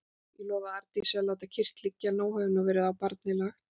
Ég lofaði Arndísi að láta kyrrt liggja, nóg hefur nú verið á barnið lagt.